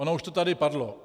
Ono už to tady padlo.